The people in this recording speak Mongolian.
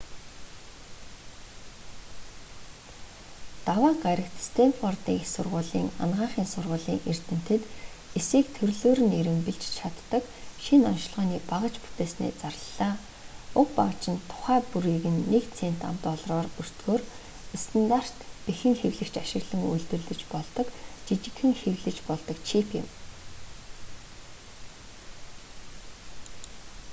даваа гарагт стэнфордын их сургуулийн анагаахын сургуулийн эрдэмтэд эсийг төрлөөр нь эрэмбэлж чаддаг шинэ оношилгооны багаж бүтээснээ зарлалаа: уг багаж нь тухай бүрийг нь нэг цент ам.долларын өртгөөр стандарт бэхэн хэвлэгч ашиглан үйлдвэрлэж болдог жижигхэн хэвлэж болдог чип юм